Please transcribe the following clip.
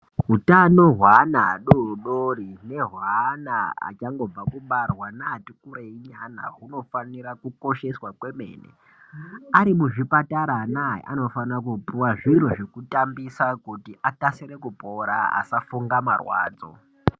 Utano hwaana adodori nehwaana achangobve kubarwa neati kurei nyana hunofanira kukosheswa kwemene ari muzvipatara anaya anofanira kupiwa zviro zvekutambisa kuti akasire kupora asafunga marwadzo.